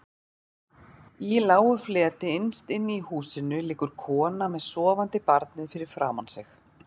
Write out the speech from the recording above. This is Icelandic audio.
Í lágu fleti innst inni í húsinu liggur konan með sofandi barnið fyrir framan sig.